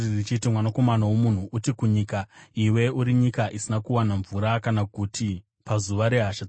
“Mwanakomana womunhu, uti kunyika, ‘Iwe uri nyika isina kuwana mvura kana guti pazuva rehasha dzangu.’